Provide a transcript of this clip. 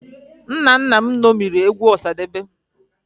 Nna nna m ṅomiri egwu Ọsadebe